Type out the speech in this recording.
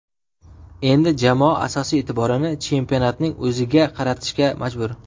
Endi jamoa asosiy e’tiborini chempionatning o‘ziga qaratishga majbur.